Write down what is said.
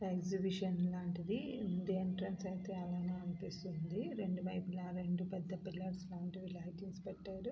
Exhibition లాంటిది ఉంది. Entrance అనిపిస్తుంది. రెండు వైపులా రెండు పెద్ద పిల్లర్స్ లాంటివి లైటింగ్స్ పెట్టారు.